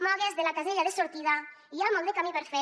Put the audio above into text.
mogue’s de la casella de sortida hi ha molt de camí per fer